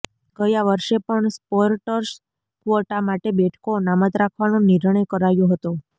ગયા વર્ષે પણ સ્પોર્ટસ કવોટા માટે બેઠકો અનામત રાખવાનો નિર્ણય કરાયો હતો